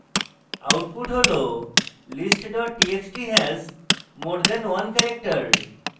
output has list txt has more than one character